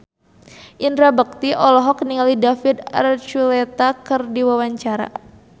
Indra Bekti olohok ningali David Archuletta keur diwawancara